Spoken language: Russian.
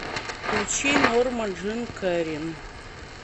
включи норма джин кэрин